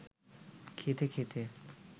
খেতে খেতে